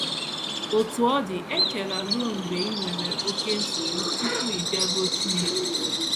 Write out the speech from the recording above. Otú ọ dị, echela ruo mgbe i nwere oké nsogbu tupu ị bịaruo Chineke nso.